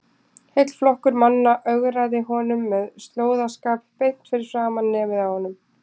Heill flokkur manna ögraði honum með slóðaskap beint fyrir framan nefið á honum!